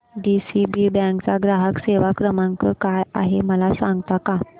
DCB bank चा ग्राहक सेवा क्रमांक काय आहे मला सांगता का